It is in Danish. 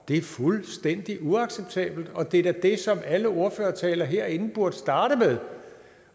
er fuldstændig uacceptabelt og det er da det som alle ordførertaler herinde burde starte med